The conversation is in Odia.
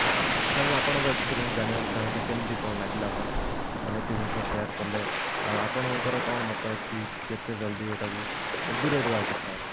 sir ମୁଁ ଆପଣଙ୍କ experience ଜାଣିବାକୁ ଚାହିଁବି କେମତି କଣ ଲାଗିଲା ଆପଣ ମାନେ ଏତେ ଜିନିଷ share କଲେ ଅ ଆପଣଙ୍କ ର କଣ ମତ ଅଛି କେତେ ଜଲ୍ଦି ଏଇଟାକୁ ଦୂରେଇ ଦବା କଥା